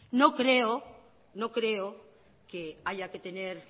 no creo que haya que tener